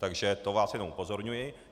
Takže to vás jenom upozorňuji.